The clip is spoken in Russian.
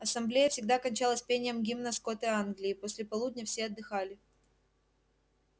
ассамблея всегда кончалась пением гимна скоты англии и после полудня все отдыхали